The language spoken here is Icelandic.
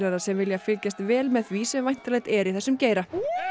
sem vilja fylgjast vel með því sem væntanlegt er í þessum geira